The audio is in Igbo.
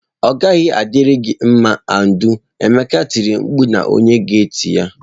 Ọ gaghị adịri gị mma Audu! Emeka tiri mkpu na onye gate ya